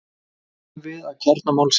Nú komum við að kjarna málsins.